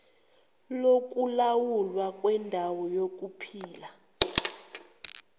lokulawulwa kwendawo yokuphila